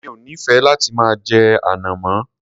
Mi ò nífẹẹ láti máa jẹ ànàmọ́.